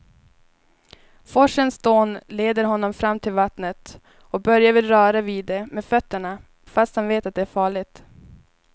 Forsens dån leder honom fram till vattnet och Börje vill röra vid det med fötterna, fast han vet att det är farligt.